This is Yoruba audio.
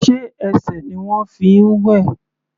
Sé ẹsẹ̀ ni ìwọ fi ń wẹ̀?